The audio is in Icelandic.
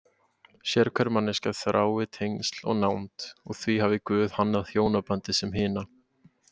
Sérhver manneskja þrái tengsl og nánd og því hafi Guð hannað hjónabandið sem hina